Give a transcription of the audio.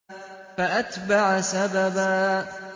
فَأَتْبَعَ سَبَبًا